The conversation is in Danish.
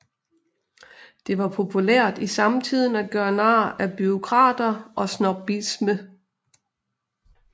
Det var populært i samtiden at gøre nar af bureaukrater og snobbisme